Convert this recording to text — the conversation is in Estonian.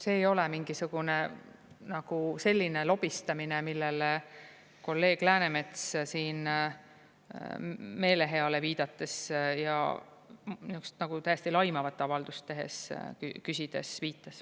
See ei ole mingisugune selline lobistamine, millele kolleeg Läänemets siin meeleheale viidates ja täiesti laimavat avaldust tehes, küsides viitas.